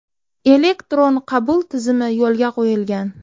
Elektron qabul tizimi yo‘lga qo‘yilgan.